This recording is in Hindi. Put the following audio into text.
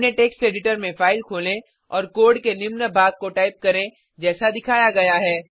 अपने टेक्स्ट एडिटर में फाइल खोलें और कोड के निम्न भाग को टाइप करें जैसा दिखाया गया है